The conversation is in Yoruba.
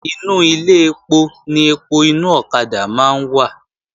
Inú Ilé ẹpo ni ẹpo inú ọ̀kadà máa ń wà